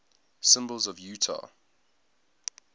symbols of utah